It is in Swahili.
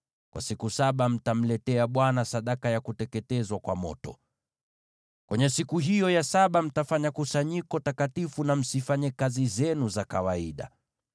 Kwa siku saba mtamletea Bwana sadaka ya kuteketezwa kwa moto. Kwenye siku hiyo ya saba mtafanya kusanyiko takatifu, na msifanye kazi zenu za kawaida.’ ”